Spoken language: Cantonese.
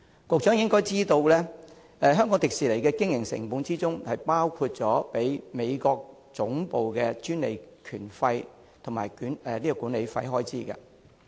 局長應該知道，香港迪士尼的經營成本包括支付美國總部的專利權費及管理費開支。